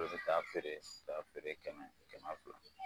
Dɔw bɛ taa feere taa feere kɛmɛ kɛmɛ fila